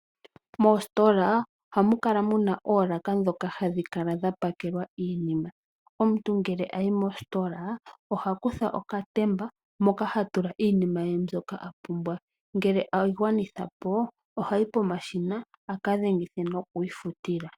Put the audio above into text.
Moositola ohamu kala muna oolaka dhoka hadhi kala dha pakelwa iinima, omuntu ngele ayi mositola ohakutha okatemba moka hatula iinima ye mbyoka apumbwa. Ngele eyi gwanithapo ohayi pomashina aka dhengithe nokwiifutila.